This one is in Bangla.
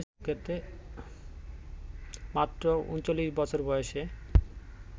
মাত্র ৩৯ বছর বয়েসে